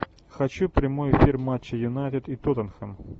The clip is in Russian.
хочу прямой эфир матча юнайтед и тоттенхэм